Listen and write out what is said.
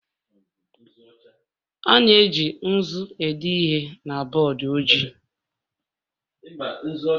A na-eji nzu ede ihe na bọọdụ ojii